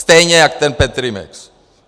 Stejně jako ten Petrimex.